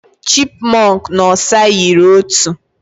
Chipmunk na osa yiri otu.